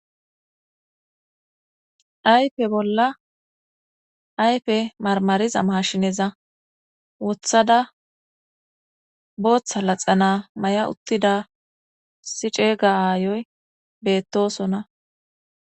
Ayfe bolla ayfe marmariza maashineza wothada booththa laxana may7a uttida siceega aayoy beettosona